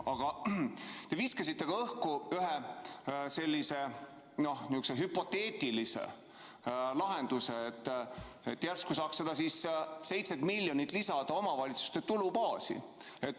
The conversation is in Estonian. Aga te viskasite õhku ka ühe hüpoteetilise lahenduse, et järsku saaks need 7 miljonit eurot lisada omavalitsuste tulubaasi.